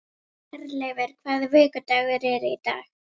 Herleifur, hvaða vikudagur er í dag?